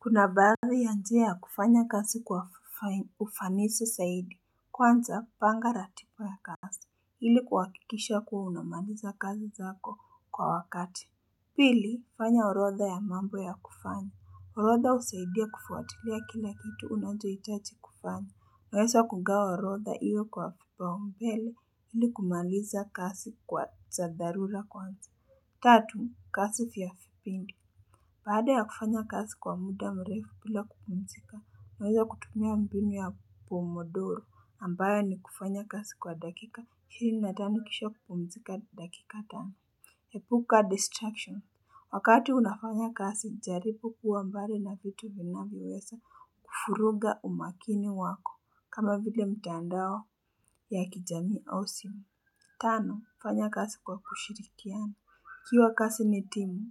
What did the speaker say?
Kuna baadhi ya njia ya kufanya kazi kwa ufanisi zaidi. Kwanza, panga ratiba ya kazi, ili kuhakikisha kuwa unamaliza kazi zako kwa wakati. Pili, fanya orodha ya mambo ya kufanya. Orodha husaidia kufuatilia kila kitu unachohitaji kufanya. Nawesa kugawa orotha iyo kwa kipaumbele ili, kumaliza kasi kwa za dharura kwanza. Tatu, kasi vya fipindi. Baada ya kufanya kasi kwa muda mrefu, bila kupumzika, nawea kutumia mbinu ya pomodoro ambayo ni kufanya kasi kwa dakika, hili atanikisha kupumzika dakika tano. Epuka distraction. Wakati unafanya kasi, jaripu kuwa mbari na vitu vinavyoweza kufuruga umakini wako. Kama vile, mtandao ya kijami au simu. Tano, kufanya kasi kwa kushirikiana. Kiwa kasi ni timu,